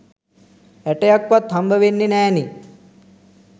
ඇටයක්වත් හම්බවෙන්නේ නෑනේ